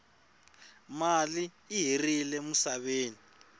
mali i herile musaveni